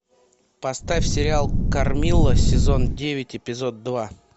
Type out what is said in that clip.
поставь сериал кармилла сезон девять эпизод два